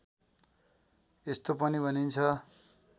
यस्तो पनि भनिन्छ